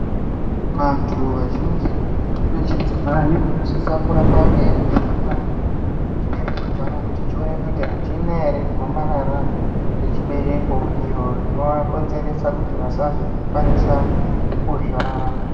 Vantu vazhinji vechidzimai ,vanosisa kuramba veivhenekwa chibereko chavo kuti chionekwe kuti achina ere chirwere chegomarara rechibereko, iro rinovakonzeresa kuti vasazokwanisa kuzvara.